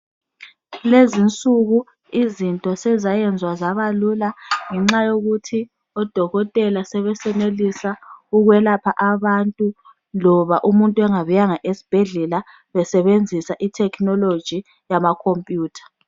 Lezi insuku izinto sezayenzwa zabalula ngenxa yokuthi odokotela sebesenelisa ukwelapha abantu loba umuntu engabuyanga engabuyanga esibhedlela besebenzisa technology yama computer.